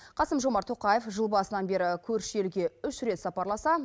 қасым жомарт тоқаев жыл басынан бері көрші елге үш рет сапарласа